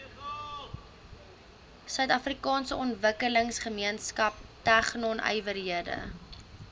suidafrikaanse ontwikkelingsgemeenskap tegnonywerhede